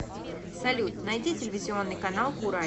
салют найди телевизионный канал курай